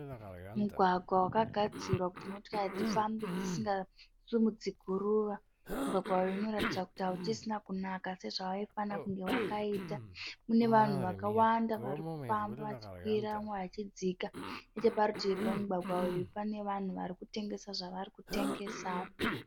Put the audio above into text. Mugwagwa wakagadzirwa kuti motokari dzifambe dzisingasimudzi guruva. Mugwagwa uyu unoratidza kuti hauchisina kunaka sezvaifana kunge wakaita. Mune vanhuevakawanda varikufamba vachikwira vamwe vachidzika. Nechepadivi pemugwagwa uyu pane vanhu varikutengesa zvarikutengesawo.